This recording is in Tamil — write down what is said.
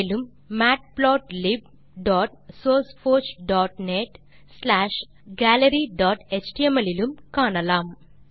மேலும் matplotlibsourceforgeநெட் ஸ்லாஷ் galleryஎச்டிஎம்எல் இலும் காணலாம்